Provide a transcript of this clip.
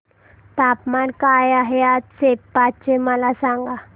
तापमान काय आहे आज सेप्पा चे मला सांगा